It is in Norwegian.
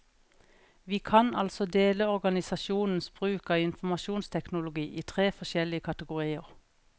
Vi kan altså dele organisasjonenes bruk av informasjonsteknologi i tre forskjellige kategorier.